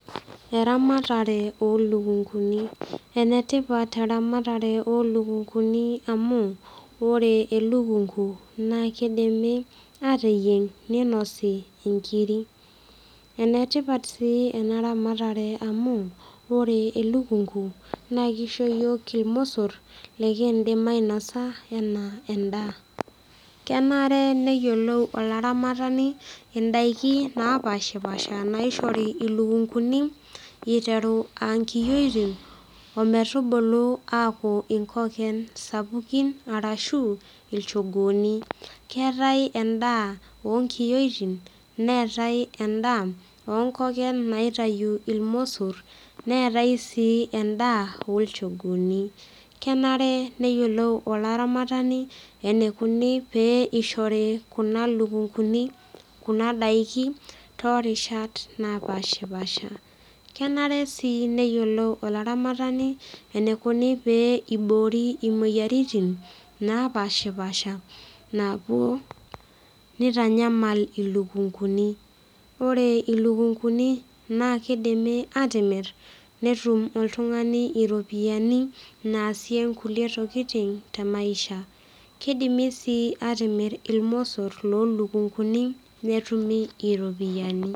Eramatare olukunguni enetipat eramatare olukunguni amu ore elukungu naa kidimi ateyieng ninosi inkiri enetipat sii ena ramatare amu ore elukungu naa kisho iyiok irmosorr likindim ainasa anaa endaa kenare neyiolou olaramatani indaiki napashipasha naishori ilukunguni iteru ankiyioitin ometubulu aaku inkoken sapukin arashu ilchogooni keetae endaa onkiyioitin neetae endaa onkoken naitayu ilmosorr neetae sii endaa olchogooni kenare neyiolou olaramatani enikuni pee ishori kuna lukunguni kuna daiki torishat napashipasha kenare sii neyiolou olaramatani enikuni pee iboori imoyiaritin napashipasha naapuo nitanyamal ilukunguni ore ilukunguni naa kidimi atimirr netum oltung'ani iropiyiani naasie nkulie tokiting te maisha kidimi sii atimirr ilmosorr lolukunguni netumi iropiyiani.